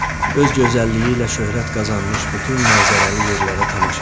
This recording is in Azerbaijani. Öz gözəlliyi ilə şöhrət qazanmış bütün mənzərəli yerlərə tamaşa elədik.